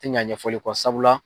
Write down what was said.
Tɛ ɲa ɲɛfɔli kɔ sabula.